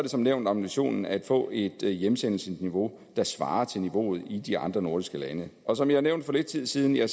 som nævnt ambitionen at få et hjemsendelsesniveau der svarer til niveauet i de andre nordiske lande og som jeg nævnte for lidt tid siden er